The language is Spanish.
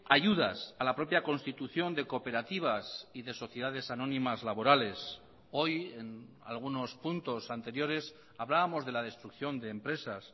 ayudas a la propia constitución de cooperativas y de sociedades anónimas laborales hoy en algunos puntos anteriores hablábamos de la destrucción de empresas